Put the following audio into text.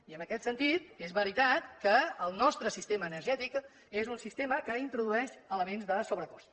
i en aquest sentit és veritat que el nostre sistema energètic és un sistema que introdueix elements de sobrecost